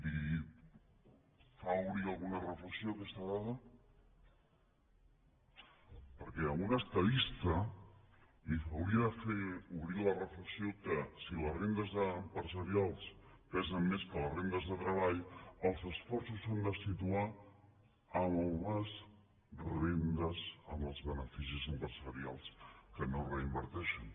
li fa obrir alguna reflexió aquesta dada perquè a un estadista li hauria de fer obrir la reflexió que si les rendes empresarials pesen més que les rendes de treball els esforços s’han de situar en les rendes en els beneficis empresarials que no es reinverteixen